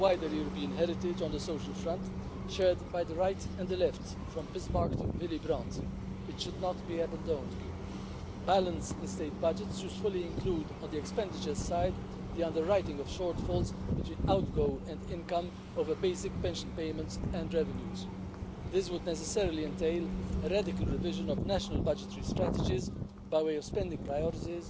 Az egyik ilyen lehetséges megoldás az állami nyugdíjat kiegészítő magánnyugdíjpénztárak működésének európai szabályozása. Ez azonban nem jelent mindenki számára elérhető megoldást, éppen ezért gondolnunk kell azokra a polgárokra is, akik valamilyen oknál fogva nem jogosultak állami nyugdíjra vagy csak kevés nyugdíjat kapnak. Számukra a szociális gondozás átfogó európai